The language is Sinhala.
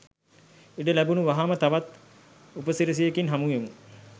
ඉඩ ලැබුනු වහාම තවත් උප සිරැසියකින් හමු වෙමු